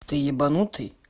ты ебанутый